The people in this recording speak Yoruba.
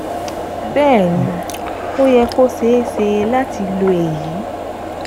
Bẹ́ẹ̀ ni, ó yẹ kó ṣeé ṣe láti lo èyí